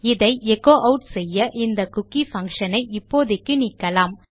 இதை echo add செய்ய இந்த குக்கி பங்ஷன் ஐ இப்போதைக்கு நீக்கலாம்